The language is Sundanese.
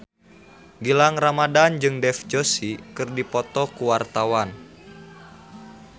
Gilang Ramadan jeung Dev Joshi keur dipoto ku wartawan